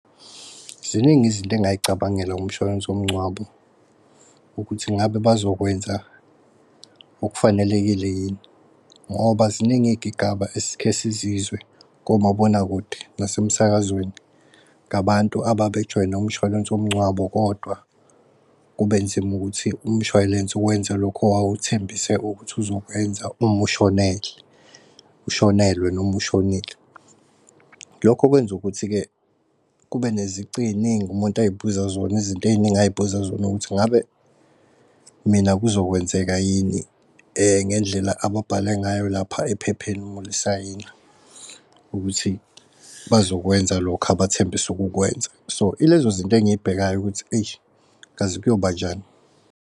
Ziningi izinto engay'cabangelanga ngomshwalense womngcwabo ukuthi ngabe bazokwenza okufanelekile yini. Ngoba ziningi iy'gigaba esikhe sizizwe komabonakude nase sakazweni ngabantu ababejoyinr umshwalense womngcwabo kodwa kube nzima ukuthi umshwalense wenza lokho owawuthembise ukuthi uzokwenza ushonelwe noma ushonile. Lokho okwenza ukuthi-ke kube nezici ey'ningi umuntu ay'buza zona iy'ntey'ningi azibuza zona ukuthi ingabe mina kuzokwenzeka yini ngendlela ababhala ngayo lapha ephepheni umulisayina ukuthi bazokwenza lokho abathembisa ukukwenza. So ilezo zinto engiyibhekayo ukuthi eish kazi kuyoba njani.